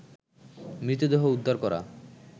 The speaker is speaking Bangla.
মৃতদেহ উদ্ধার করা